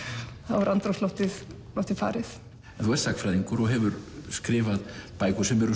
er andrúmsloftið farið en þú ert sagnfræðingur og hefur skrifað bækur sem eru